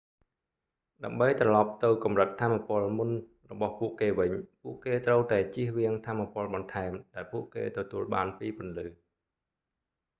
ដើម្បីត្រលប់ទៅកម្រិតថាមពលមុនរបស់ពួកគេវិញពួកគេត្រូវតែចៀសវាងថាមពលបន្ថែមដែលពួកគេទទួលបានពីពន្លឺ